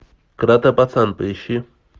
каратэ пацан поищи